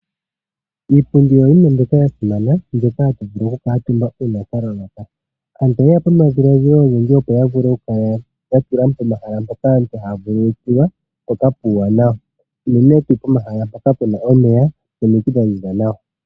Iipundi oyo yimwe mbyoka ya simana mbyoka hatu vulu okukutumba uuna twa vulwa. Aantu oye ya po nomadhiladhilo ogendji opo ya vule okukala ya tula pomahala mpoka aantu haya vululukilwa mpoka puuwanawa. Unene tuu pomahala mpoka pu na omeya nomiti dha ziza.